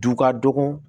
Du ka dɔgɔ